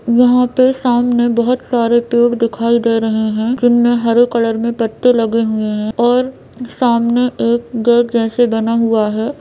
यहाँ पे सामने बहुत सारे पेड़ दिखाई दे रहे हैं जिनमें हरे कलर में पत्ते लगे हुए हैं और सामने एक गेट जैसा बना हुआ है।